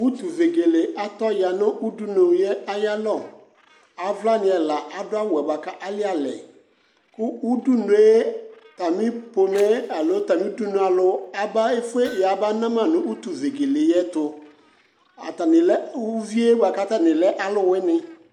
Utuvegele atɔya udunulie ayalɔ, avlanɩ ɛla adʋawʋɛ bʋa ka alɩalɛ ; u udunue atamɩ pomɛɛ alo atamɩ udunualʋ aba efue ya bana ma nʋ utuvegele yɛtʋ Atanɩ lɛ uvie bʋa k'atanɩ lɛ alʋwɩnɩ